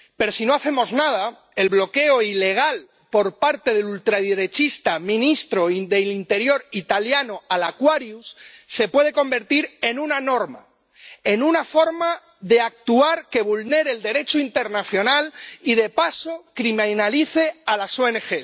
Pero si no hacemos nada, el bloqueo ilegal por parte del ultraderechista ministro de Interior italiano al Aquarius se puede convertir en una norma, en una forma de actuar que vulnere el Derecho internacional y de paso criminalice a las ONG.